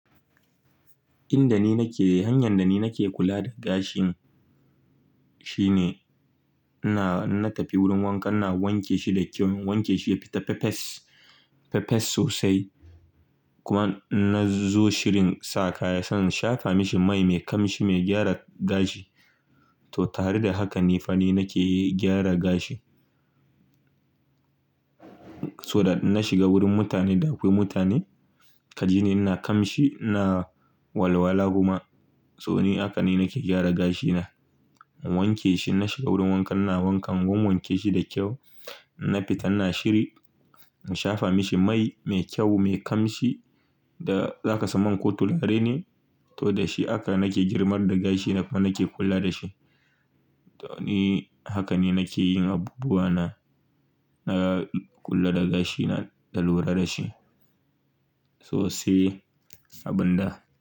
Inda ni nake, hanyar da ni nake kula da gashin shine ina na tafi wurin wanka na wanke shi da kyau, wanke shi ya fita fefes, fefes sosai. Kuma na zo shirin sa kaya, sannan shafa mashi mai mai kamshi mai gyara gashi. To tare da haka ne fa ni nake gyara gashi. So da na shiga wurin mutane da akwai mutane kaji ni ina kamshi ina walwala kuma. To ni haka ne nake gyara gashina. Na wanke shi, na shiga wurin wanka na wanka kuma wanke shi da kyau. Na fita na shiri, na shafa mashi mai mai kyau mai kamshi da za ka samu a kotu, larai ne. To da shi haka nake girmar da gashi na kuma nake kula da shi. To ni haka ne nake yin abubuwa na, na kula da gashina da lura da shi sosai abin da.